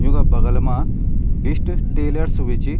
युंका बगल मा बिस्ट टेलर्स बि च।